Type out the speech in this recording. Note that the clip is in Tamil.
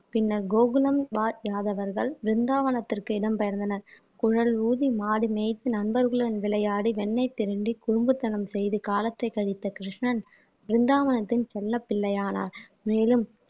பின்னர் கோகுலம் வாழ் யாதவர்கள் பிருந்தாவனத்திற்கு இடம் பெயர்ந்தனர் குழல் ஊதி மாடு மேய்த்து நண்பர்களுடன் விளையாடி வெண்ணை திருடி குறும்புத்தனம் செய்து காலத்தை கழித்த கிருஷ்ணன் பிருந்தாவனத்தின் செல்லப் பிள்ளையானார் மேலும்